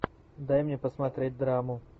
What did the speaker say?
дай мне посмотреть драму